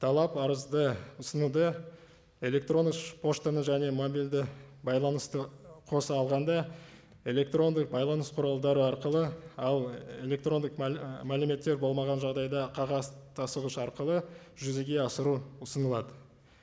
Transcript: талап арызды ұсынуды электрондық поштаны және мобильді байланысты қоса алғанда электрондық байланыс құралдары арқылы ал электрондық і мәліметтер болмаған жағдайда қағаз тасығыш арқылы жүзеге асыру ұсынылады